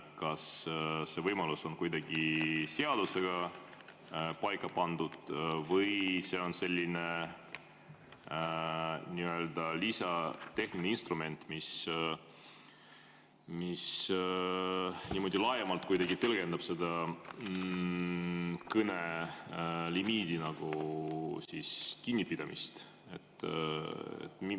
Kas see võimalus on kuidagi seadusega paika pandud või on selline tehniline lisainstrument, mis niimoodi laiemalt kuidagi tõlgendab seda kõnelimiidist kinnipidamist?